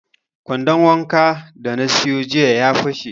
Kwandon wankan da na siyo jiya ya fashe